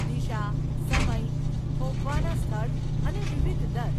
દિશા, સમય, થોભવાના સ્થળ અને વિવિધ દર.